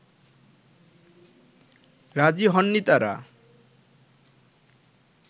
রাজী হননি তারা